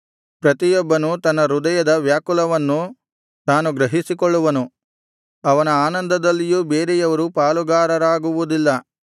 ಪ್ರತಿಯೊಬ್ಬನು ತನ್ನ ಹೃದಯದ ವ್ಯಾಕುಲವನ್ನು ತಾನು ಗ್ರಹಿಸಿಕೊಳ್ಳುವನು ಅವನ ಆನಂದದಲ್ಲಿಯೂ ಬೇರೆಯವರು ಪಾಲುಗಾರರಾಗುವುದಿಲ್ಲ